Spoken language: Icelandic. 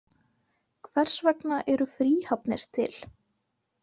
Hvers vegna eru fríhafnir til?